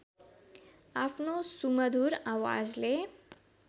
आफ्नो सुमधुर आवजले